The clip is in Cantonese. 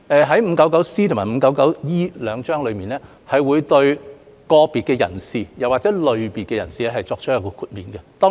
第 599C 章和第 599E 章這兩章會對個別人士或類別人士作出豁免。